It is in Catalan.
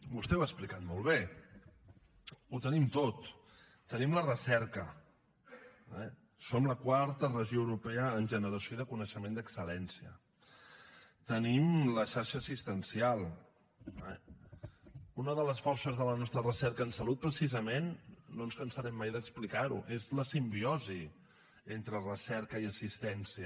vostè ho ha explicat molt bé ho tenim tot tenim la recerca eh som la quarta regió europea en generació de coneixement d’excel·lència tenim la xarxa assistencial eh una de les forces de la nostra recerca en salut precisament no ens cansarem mai d’explicar ho és la simbiosi entre recerca i assistència